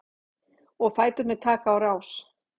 Og fæturnir taka á rás.